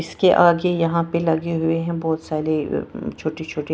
इसके आगे यहां पे लगे हुए है बहोत सारे छोटे छोटे--